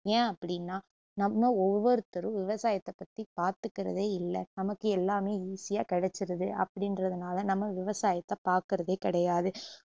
ஏன் அப்டின்னா நம்ம ஒவ்வொருத்தரும் விவசாயத்தை பத்தி பாத்துக்குறதே இல்ல நமக்கு எல்லாமே easy ஆ கிடைச்சுருது அப்படின்றதுனால நம்ம விவசாயத்த பாக்குறதே கிடையாது